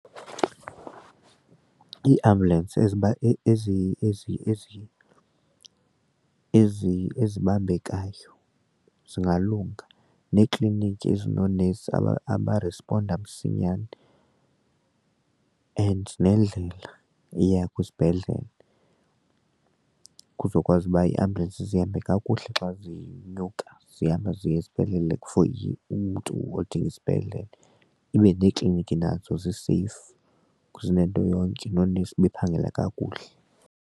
Iiambulensi ezibambekayo zingalunga neekliniki ezinoonesi aba abarisponda msinyane and nendlela eya kwizibhedlele kuzokwazi uba iiambulensi zihambe kakuhle xa zinyuka zihambe ziye sibhedlele for umntu odinga isibhedlele ibe neekliniki nazo zii-safe zinento yonke noonesi bephangela kakuhle.